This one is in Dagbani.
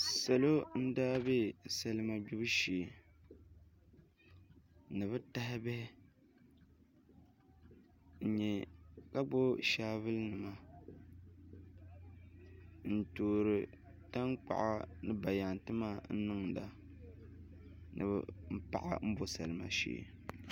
Salo n daa bɛ salima gbibu shee ni bi taha bihi ka gbubi shaavul nima n toori tankpaɣu ni bayaɣati maa n niŋda ni bi paɣi n bo salima shee